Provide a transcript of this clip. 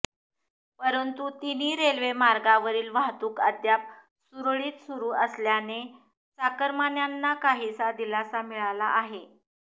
परंतु तिन्ही रेल्वे मार्गांवरील वाहतूक अद्याप सुरळीत सुरू असल्याने चाकरमान्यांना काहीसा दिलासा मिळाला आहे